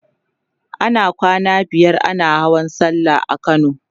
ana kwana biyar ana Hawan sallah a kano